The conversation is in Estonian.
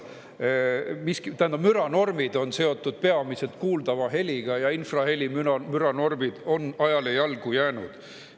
Müranormid on seotud peamiselt kuuldava heliga ja infrahelimüra normid on ajale jalgu jäänud.